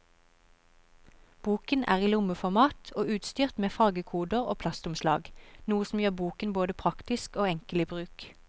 Boken er i lommeformat og utstyrt med fargekoder og plastomslag, noe som gjør boken både praktisk og enkel i bruk.